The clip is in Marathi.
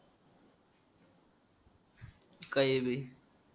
काय बी